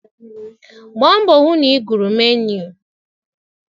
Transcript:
Gbaa mbọ hụ na ị gụrụ menuu.!